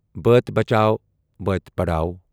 بٲتی بچاؤ بٲتی پڑھاو